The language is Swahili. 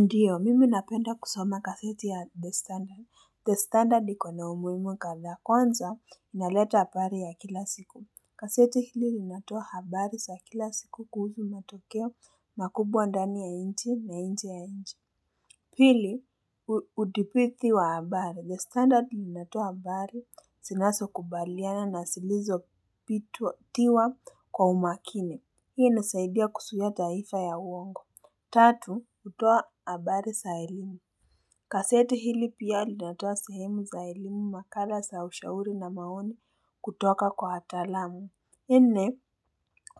Ndiyo, mimi napenda kusoma gazeti ya The Standard. The Standard ikona umuhimu kadhaa kwanza inaleta habari ya kila siku. Gazeti hili linatoa habari za kila siku kuhusu matokeo makubwa ndani ya inchi na inje ya inchi. Pili, udibithi wa habari. The Standard linatoa habari zinazo kubaliana na zilizo bitwa thiwa kwa umakini. Hii inisaidia kuzuia taifa ya uongo. Tatu utoa abari za elimu gaseti hili pia linatoa sehemu za elimu makala za ushauri na maoni kutoka kwa wataalamu nne